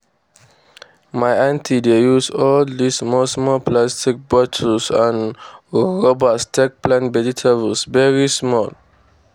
my aunty dey use all dis small small plastic bottle and rubbers take plant vegetables wey small.